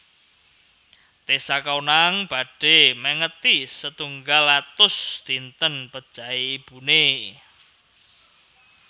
Tessa Kaunang badhe mengeti setunggal atus dinten pejahe ibune